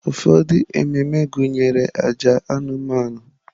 Ụfọdụ ememe gụnyere àjà anụmanụ.